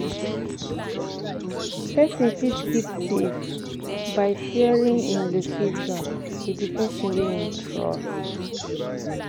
Person fit keep safe by sharing im location with di person wey im trust